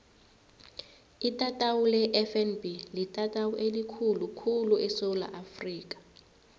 itatawu lefnb litatawu elikhulu khulu esewula afrika